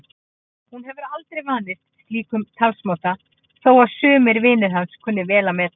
Hún hefur aldrei vanist slíkum talsmáta þó að sumir vinir hans kunni vel að meta.